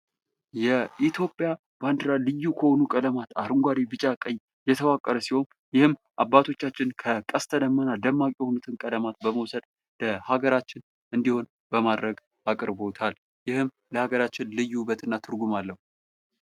የኢትዮጵያ ባንዲራ ልዩ ከሆኑ ቀለማት አረንጓዴ፥ ቢጫ፥ ቀይ የተዋቀረ ሲሆን ይህም አባቶቻችን በቀስተ ደመና ደማቅ የሆኑትን ቀለማቶች በመውሰድ ለሀገራችን እንዲሆን አቅርበውታል ይህም ለሃገራችን ልዩ የሆነ ውበትና ትርጉም አለው።